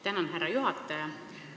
Tänan, härra juhataja!